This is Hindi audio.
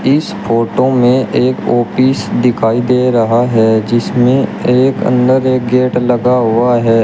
इस फोटो में एक आपिस दिखाई दे रहा है जिसमें एक अंदर एक गेट लगा हुआ है।